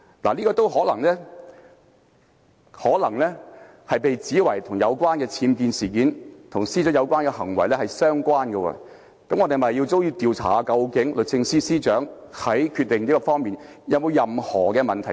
這說法也可能會被指為與僭建事件及司長的有關行為相關，那麼我們是否也要調查律政司司長在這方面的決定有沒有任何問題？